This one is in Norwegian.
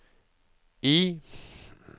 I